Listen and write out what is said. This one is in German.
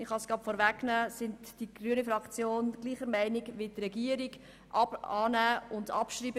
Die grüne Fraktion ist derselben Meinung wie die Regierung: annehmen und abschreiben.